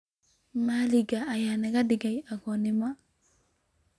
Malak aya nakadigey aagoma.